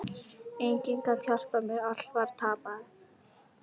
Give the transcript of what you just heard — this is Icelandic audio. Enginn gat hjálpað mér, allt var tapað.